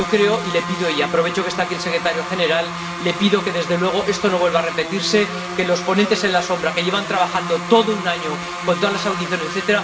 Yo le pido —y aprovecho que está aquí el secretario general— que, desde luego, esto no vuelva a repetirse que los ponentes alternativos, que llevan trabajando todo un año con todas las audiencias, etc.,